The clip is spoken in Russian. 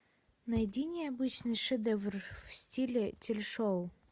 найди необычный шедевр в стиле телешоу